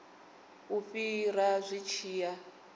u fhira zwi tshi ya